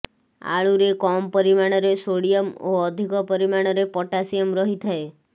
ଆଳୁରେ କମ୍ ପରିମାଣରେ ସୋଡିୟମ ଓ ଅଧିକ ପରିମାଣରେ ପଟାସିୟମ ରହିଥାଏ